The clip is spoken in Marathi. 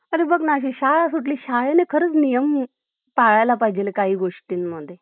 अरे बघ ना, हि शाळा सुटली , शाळेने खरंच नियम पाळायला पाहिजेत काही गोष्टीनं मध्ये .